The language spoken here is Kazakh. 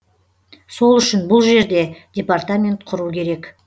сол үшін бұл жерде департамент құру керек